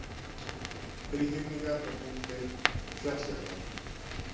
Þríhyrningar með punkti: fjalljöklar.